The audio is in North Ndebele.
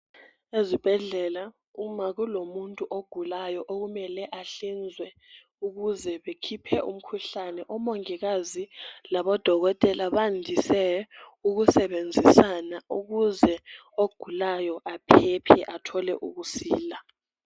ezibhedlela uma kulomuntu ogulayo okumele ahlinzwe ukuze bekhiphe umkhuhlane omongikazi labo dokotela bandise ukusebenzisana ukuze ogulayo aphephe athole ukusila